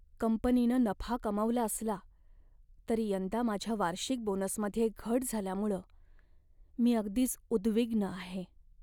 कंपनीनं नफा कमावला असला तरी यंदा माझ्या वार्षिक बोनसमध्ये घट झाल्यामुळं मी अगदीच उद्विग्न आहे.